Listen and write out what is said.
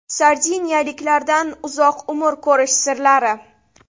Sardiniyaliklardan uzoq umr ko‘rish sirlari.